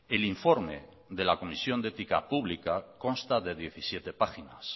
el informe de la comisión de ética pública consta de diecisiete páginas